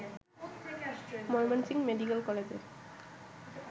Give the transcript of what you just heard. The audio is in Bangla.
ময়মনসিংহ মেডিকেল কলেজের